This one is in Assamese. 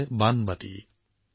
এই সৰু বাটিটো কি